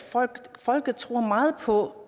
folket tror meget på